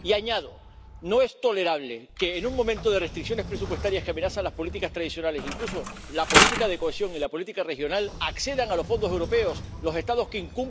Y añado no es tolerable que, en un momento de restricciones presupuestarias que amenazan las políticas tradicionales, incluso la política de cohesión y la política regional, accedan a los fondos europeos los Estados que incumplen las reglas del Estado de Derecho.